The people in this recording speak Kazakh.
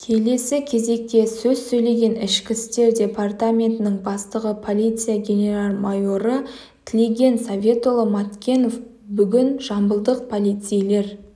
келесі кезекте сөз сөйлеген ішкі істер департаментінің бастығы полиция генерал-майоры тлеген советұлы маткенов бүгін жамбылдық полицейлер